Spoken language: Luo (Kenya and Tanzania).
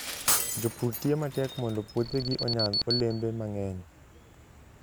Jopur tiyo matek mondo puothegi onyag olembe mang'eny.